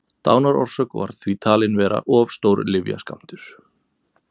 dánarorsök var því talin vera of stór lyfjaskammtur